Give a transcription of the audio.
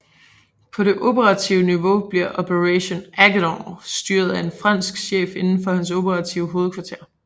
På det operative niveau bliver Operation AGENOR styret af en fransk chef igennem hans operative hovedkvarter